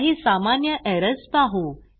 काही सामान्य एरर्स पाहू